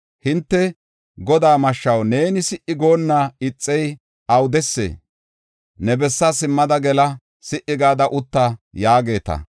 Hinte, ‘Godaa mashshaw, neeni si77i goonna ixey awudesee? Ne bessaa simmada gela; si77i gada utta’ yaageeta.